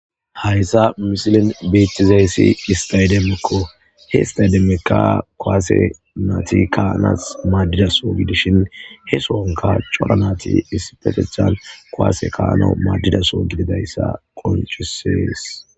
Hayisa missilen betizayis istademekko he istademeka kuwase nati kayanas madida soho gidishin he sohonka cora nayiti issippetetan kuase ka'anawu madida soho gididayisa qoncises.